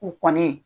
U kɔni